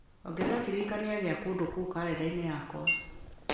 ongerera kĩririkania gĩa kũndũ kũu karenda-inĩ yakwa